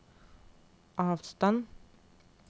avstand